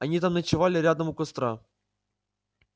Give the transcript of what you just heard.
они там ночевали рядом у костра